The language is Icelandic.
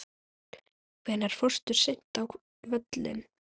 Hvenær fórstu seinast á völlinn?